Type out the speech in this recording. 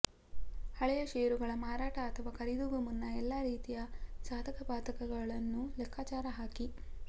ಹಳೆಯ ಷೇರುಗಳ ಮಾರಾಟ ಅಥವಾ ಖರೀದಿಗೂ ಮುನ್ನ ಎಲ್ಲಾ ರೀತಿಯ ಸಾಧಕ ಬಾಧಕಗಳನ್ನು ಲೆಕ್ಕಾಚಾರ ಹಾಕಿ